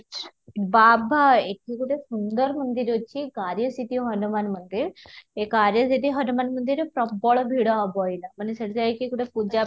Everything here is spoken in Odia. ବାବା ଏଠି ଗୋଟେ ସୁନ୍ଦର ମନ୍ଦିର ଅଛି ଗାରିୟସିଟି ହନୁମାନ ମନ୍ଦିର ଏ ଗାରିୟସିଟି ହନୁମାନ ମନ୍ଦିରରେ ପ୍ରବଳ ଭିଡ଼ ହେବ ଏଇନା ମାନେ ସେଠି ଯାଇକି ଗୋଟେ ପୂଜା